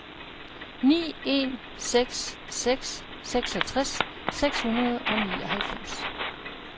ni en seks seks seksogtres seks hundrede og nioghalvfems